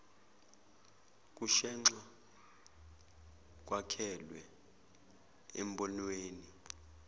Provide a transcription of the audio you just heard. kushenxa kwakhelwe embonweni